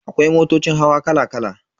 Akwai motocin hawa kala kala.